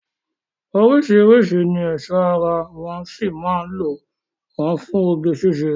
Oríṣiríṣi ni ẹ̀ṣọ́ ara wọ́ sì mán lò wọ́n fún oge síṣe.